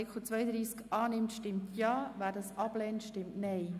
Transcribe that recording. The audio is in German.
Wer dem Artikel zustimmt, stimmt Ja, wer diesen ablehnt, stimmt Nein.